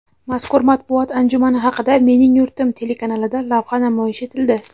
Mazkur matbuot anjumani haqida "Mening yurtim" telekanalida lavha namoyish etildi.